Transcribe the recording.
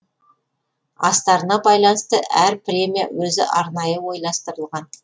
астарына байланысты әр премия өзі арнайы ойластырылған